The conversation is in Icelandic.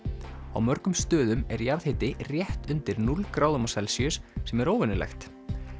á mörgum stöðum er jarðhiti rétt undir núll gráðum á Celsíus sem er óvenjulegt